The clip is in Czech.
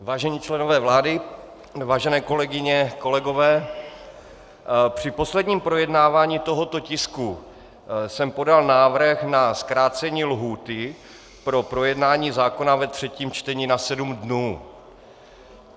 Vážení členové vlády, vážené kolegyně, kolegové, při posledním projednávání tohoto tisku jsem podal návrh na zkrácení lhůty pro projednání zákona ve třetím čtení na sedm dnů.